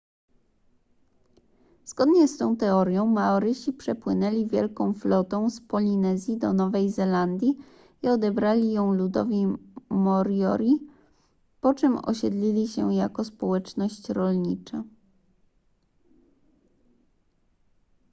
zgodnie z tą teorią maorysi przepłynęli wielką flotą z polinezji do nowej zelandii i odebrali ją ludowi moriori po czym osiedlili się jako społeczność rolnicza